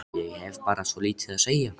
Ég hef bara svo lítið að segja.